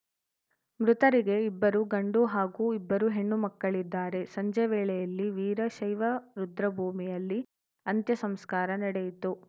ಮೃತರಿಗೆ ಇಬ್ಬರು ಗಂಡು ಹಾಗೂ ಇಬ್ಬರು ಹೆಣ್ಣು ಮಕ್ಕಳಿದ್ದಾರೆ ಸಂಜೆ ವೇಳೆಯಲ್ಲಿ ವೀರಶೈವ ರುದ್ರಭೂಮಿಯಲ್ಲಿ ಅಂತ್ಯಸಂಸ್ಕಾರ ನಡೆಯಿತು